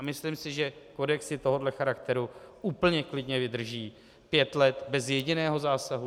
A myslím si, že kodexy tohoto charakteru úplně klidně vydrží pět let bez jediného zásadu.